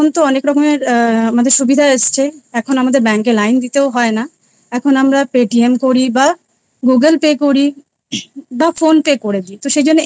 অনেক রকমের আ অনেক সুবিধা এসেছে এখন আমাদের bank এ লাইন দিতে হয় না এখন আমরা Paytm করি বা Google Pay করি বা Phone Pay করে দি সেই জন্যে।